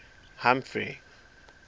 humphrey